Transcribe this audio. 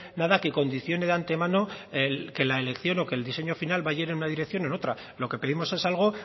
nada que condicione de antemano el que la elección o que el diseño final vaya en una dirección o en otra lo que pedimos es algo